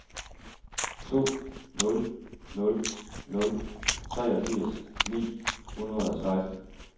to nul nul nul treogfirs ni hundrede og seksten